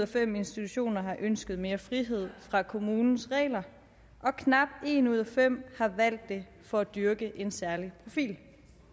fem institutioner har ønsket mere frihed fra kommunens regler og knap en ud af fem har valgt det for at dyrke en særlig profil